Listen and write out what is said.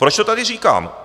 Proč to tady říkám?